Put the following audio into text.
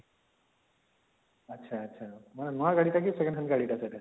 ଆଛା ଆଛା ମାନେ ନୂଆ ଗାଡି ଟା କି 2nd hand ଗାଡି ଟା ସେଇଟା